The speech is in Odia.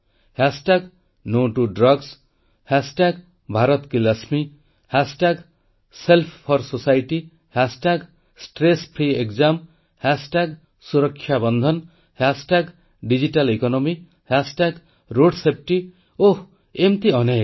hash tag no to drugs hashtag Bharat କି Lakshmi hashtag self for society hashtag stress free exam hashtag Suraksha Bandhan hashtag digital economy hashtag road safety ଏମିତି ଅନେକ